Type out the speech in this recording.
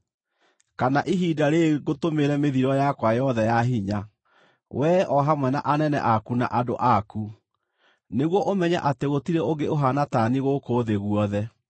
kana ihinda rĩĩrĩ ngũtũmĩre mĩthiro yakwa yothe ya hinya, we o hamwe na anene aku na andũ aku, nĩguo ũmenye atĩ gũtirĩ ũngĩ ũhaana ta niĩ gũkũ thĩ guothe.